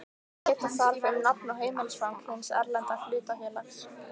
Geta þarf um nafn og heimilisfang hins erlenda hlutafélags.